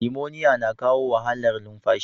Limoniya na kawo wahalar lumfashi.